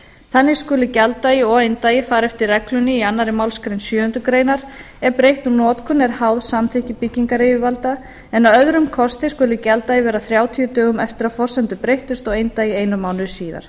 þannig skuli gjalddagi og eindagi fara eftir reglunni í annarri málsgrein sjöundu greinar ef breytt um notkun er háð samþykki byggingaryfirvalda en að öðrum kosti skuli gjalddagi vera þrjátíu dögum eftir að forsendur breyttust og eindagi einum mánuði síðar